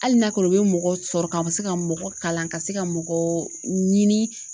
Hali n'a kɛra u bɛ mɔgɔ sɔrɔ ka se ka mɔgɔ kalan ka se ka mɔgɔ ɲini.